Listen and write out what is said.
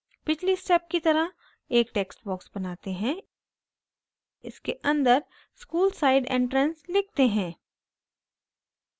पिछली step की तरह एक text box बनाते हैं इसके अंदर school side entrance लिखते हैं